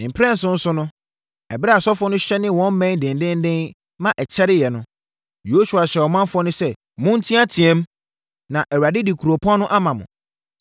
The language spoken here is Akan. Ne mprɛnson so no, ɛberɛ a asɔfoɔ no hyɛnee wɔn mmɛn dendeenden ma ɛkyɛreeɛ no, Yosua hyɛɛ ɔmanfoɔ no sɛ, “Monteateam! Na Awurade de kuropɔn no ama mo!